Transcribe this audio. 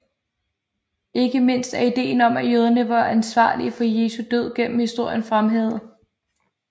Ikke mindst er ideen om at jøderne var ansvarlige for Jesu død gennem historien blevet fremhævet